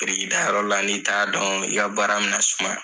Biriki da yɔrɔ la n'i t'a dɔn , i ka baara mi na sumaya.